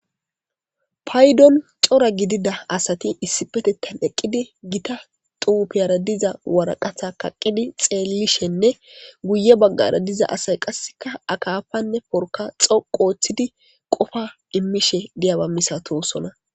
Payidon coora gidida asati issippeteththan eqid gita xufara diza waraqatta kaqidi xelishshenne guye baggara diza asayi qasekka akafanne porkka dhoqu oththidi qofa imishe dizaba misatosona